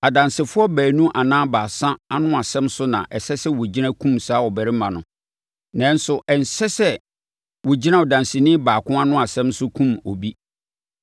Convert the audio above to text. Adansefoɔ baanu anaa baasa ano asɛm so na ɛsɛ sɛ wɔgyina kum saa ɔbarima no. Nanso, ɛnsɛ sɛ wɔgyina ɔdanseni baako ano asɛm so kum obi.